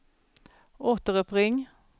återuppring